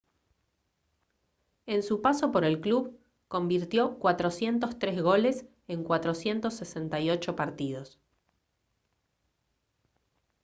en su paso por el club convirtió 403 goles en 468 partidos